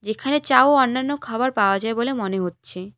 এখানে চা ও অন্যান্য খাবার পাওয়া যায় বলে মনে হচ্ছে।